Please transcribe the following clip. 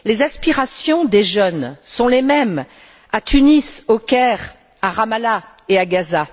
Les aspirations des jeunes sont les mêmes à Tunis, au Caire, à Ramallah et à Gaza.